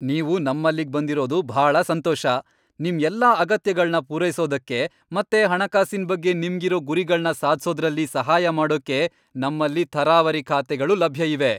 ನೀವು ನಮ್ಮಲ್ಲಿಗ್ ಬಂದಿರೋದು ಭಾಳ ಸಂತೋಷ! ನಿಮ್ ಎಲ್ಲಾ ಅಗತ್ಯಗಳ್ನ ಪೂರೈಸೋದಕ್ಕೆ ಮತ್ತೆ ಹಣಕಾಸಿನ್ ಬಗ್ಗೆ ನಿಮ್ಗಿರೋ ಗುರಿಗಳ್ನ ಸಾಧ್ಸೋದ್ರಲ್ಲಿ ಸಹಾಯ ಮಾಡೋಕೆ ನಮ್ಮಲ್ಲಿ ಥರಾವರಿ ಖಾತೆಗಳು ಲಭ್ಯ ಇವೆ.